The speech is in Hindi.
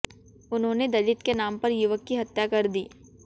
उन्होंने दलित के नाम पर युवक की हत्या कर दी